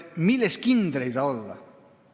Milles kindel ei saa olla?